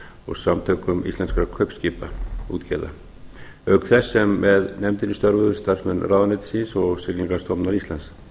og samtökum íslenskra kaupskipaútgerða auk þess sem með nefndinni störfuðu starfsmenn ráðuneytisins og siglingamálastofnunar íslands